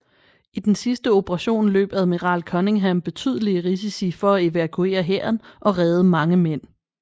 I den sidste operation løb Admiral Cunningham betydelige risici for at evakuere hæren og reddede mange mænd